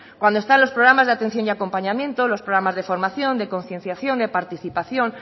cuando están los programas de atención y acompañamiento los programas de formación de concienciación de participación